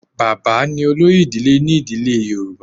Bàbá ni olórí ìdílé ni ìdílé ti Yorùbá.